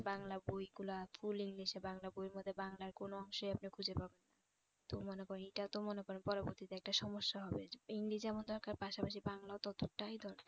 বাংলা বইগুলা full english এ বাংলা বইয়ের মধ্যে বাংলার কোন অংশে আমরা খুঁজে পাবো তো মনে করেন এইটা তো মনে করেন পরবর্তীতে একটা সমস্যা হবে english যেমন দরকার পাশাপাশি বাংলাও ততটা দরকার